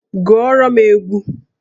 Gụọrọ m egwu!